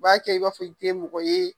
U b'a kɛ i b'a fɔ i tɛ mɔgɔ ye.